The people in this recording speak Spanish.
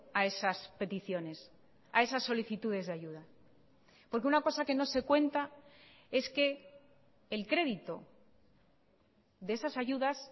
a esas peticiones a esas solicitudes de ayuda porque una cosa que no se cuenta es que el crédito de esas ayudas